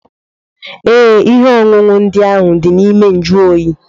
Ee, ihe ọṅụṅụ ndị ahụ dị na ime njuoyi.